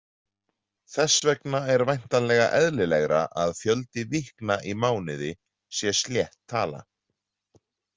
Þess vegna er væntanlega eðlilegra að fjöldi „vikna“ í mánuði sé slétt tala.